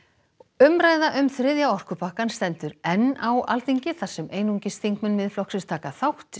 umræða um þriðja orkupakkann stendur enn á Alþingi þar sem einungis þingmenn Miðflokksins taka þátt